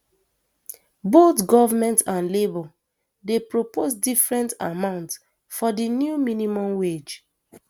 both goment and labour dey propose different amount for di new minimum wage